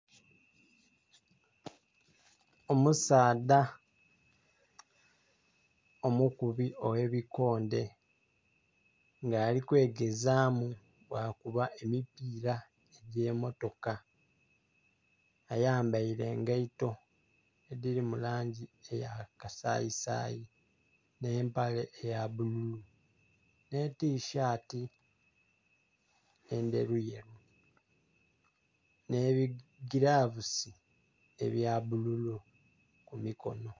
Omusaadha omukubi oghe bikondhe nga ali kwegezamu bwa kuba emipira egye motoka, ayambaire engaito edhiri mu langi eya kasayi sayi ne empale eya bululu ne tishati endheru yeru ne bigilavusi ebya bululu ku mikonho.